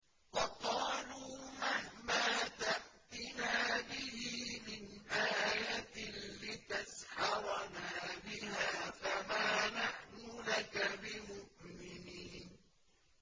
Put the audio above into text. وَقَالُوا مَهْمَا تَأْتِنَا بِهِ مِنْ آيَةٍ لِّتَسْحَرَنَا بِهَا فَمَا نَحْنُ لَكَ بِمُؤْمِنِينَ